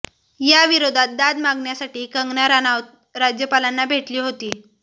याविरोधात दाद मागण्यासाठी कंगना राणौत राज्यपालांना भेटली होती